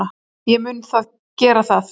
Ég mun gera það.